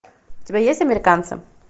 у тебя есть американцы